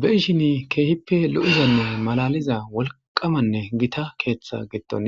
Beishini keehippe lo'izanne malaliza wolqamanne gita keeththa gitton